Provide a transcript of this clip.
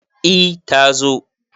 e ta zo